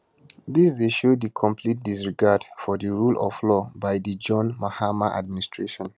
dis dey show di complete disregard for di rule of law by di john mahama administration